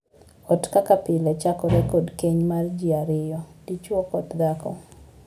Ot kaka pile chakore kod keny mar jii ariyo; dichwo kod dhako.